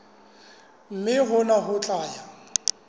mme hona ho tla ya